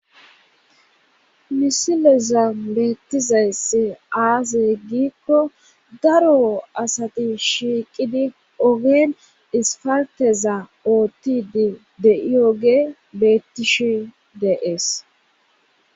misileza beettizayssi aziye ggikko daro asati shiiqidi ogeen isfarteza oottidi de7i oge beettishi deees